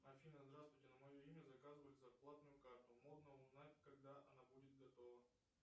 афина здравствуйте на мое имя заказывали зарплатную карту можно узнать когда она будет готова